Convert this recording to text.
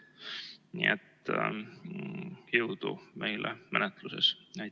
Nii et jõudu meile menetluses!